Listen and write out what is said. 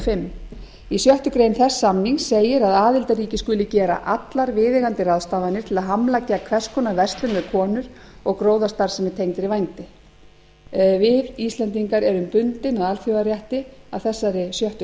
fimm í sjöttu greinar þess samnings segir að aðildarríki skuli gera allar viðeigandi ráðstafanir til að hamla gegn hvers konar verslun með konur og gróðastarfsemi tengdri vændi við íslendingar erum bundin af alþjóðarétti að þessari sjöttu